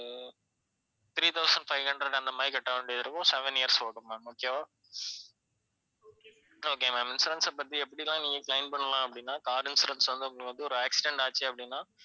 three thousand five hundred அந்தமாதிரி கட்டவேண்டியது இருக்கும் seven years ஓடும் ma'am okay வா okay ma'am insurance அ பத்தி எப்படிலாம் நீங்க claim பண்ணலாம் அப்படின்னா car insurance வந்து உங்களுக்கு ஒரு accident ஆச்சு அப்படின்னா,